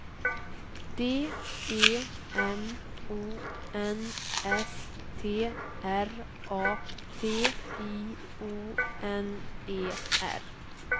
D E M O N S T R A T I O N E R